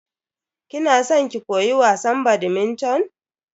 Kina san ki koyi wasan "badminton"?